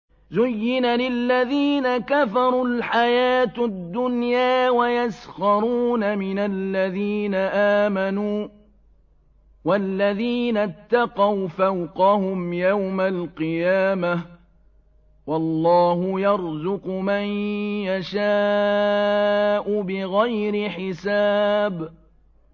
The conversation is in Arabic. زُيِّنَ لِلَّذِينَ كَفَرُوا الْحَيَاةُ الدُّنْيَا وَيَسْخَرُونَ مِنَ الَّذِينَ آمَنُوا ۘ وَالَّذِينَ اتَّقَوْا فَوْقَهُمْ يَوْمَ الْقِيَامَةِ ۗ وَاللَّهُ يَرْزُقُ مَن يَشَاءُ بِغَيْرِ حِسَابٍ